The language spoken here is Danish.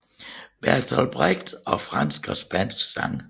Bertolt Brecht og franske og spanske sange